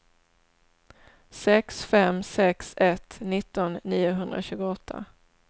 sex fem sex ett nitton niohundratjugoåtta